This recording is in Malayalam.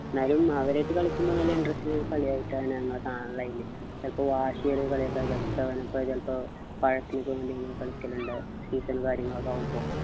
ന്നാലും അവരായിട്ടു കളിക്കുമ്പോ നല്ല interest ൽ കളിയായിട്ടാണ് കാണല് അയിനെ ചെലപ്പോ വാശിയേറിയ കളിയൊക്കെ ചിലപ്പോ പഴത്തിനൊക്കെ വേണ്ടി നമ്മള് കളിക്കലുണ്ട് season ഉം കാര്യങ്ങളൊക്കെ ആവുമ്പൊ